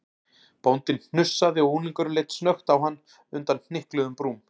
Bóndinn hnussaði og unglingurinn leit snöggt á hann undan hnykluðum brúm.